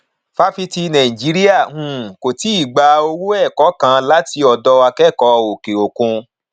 fáfitì nàìjíríà um kò tíì gba owó ẹkọ kàn láti ọdọ akẹkọọ òkè òkun